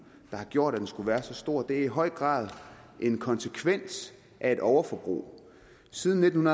der har gjort at den skulle være så stor det er i høj grad en konsekvens af et overforbrug siden nitten